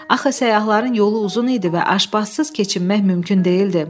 Axı səyyahların yolu uzun idi və aşpazsız keçinmək mümkün deyildi.